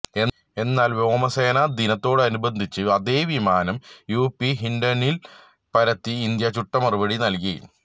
എന്നാല് വ്യോമസേന ദിനത്തോടനുബന്ധിച്ച് അതേ വിമാനം യുപി ഹിന്ഡനില് പറത്തി ഇന്ത്യ ചുട്ട മറുപടി നല്കി